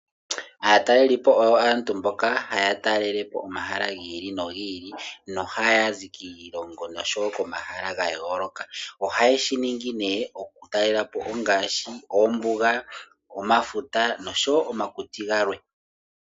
Aatalelipo oyo aantu mboka haya talelepo omahala giili nogiili nohaya zi kiilongo noshowoo komahala gayooloka . Ohayeshi ningi okukaleelelapo ongaashi oombuga, omafuta noshowoo omakuti galwe.